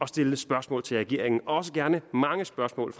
stiller spørgsmål til regeringen også gerne mange spørgsmål